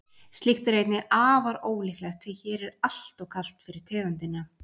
Slíkt er einnig afar ólíklegt því hér er alltof kalt fyrir tegundina.